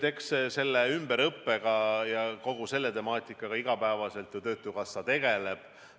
Eks selle ümberõppe ja kogu selle temaatikaga iga päev ju töötukassa tegeleb.